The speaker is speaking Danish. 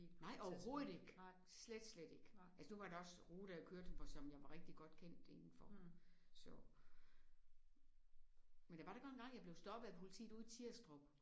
Nej overhovedet ikke! Slet slet ikke. Altså nu var det også ruter jeg kørte jeg var som jeg var rigtig godt kendt inde for så. Men der var da godt nok engang jeg blev stoppet af politiet ude i Tirstrup